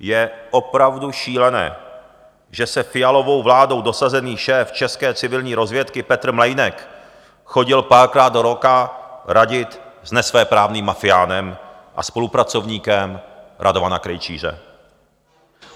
Je opravdu šílené, že se Fialovou vládou dosazený šéf české civilní rozvědky Petr Mlejnek chodil párkrát do roka radit s nesvéprávným mafiánem a spolupracovníkem Radovana Krejčíře.